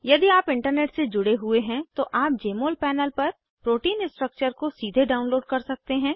यदि आप इंटरनेट से जुड़े हुए हैं तो आप जमोल पैनल पर प्रोटीन स्ट्रक्चर को सीधे डाउनलोड कर सकते हैं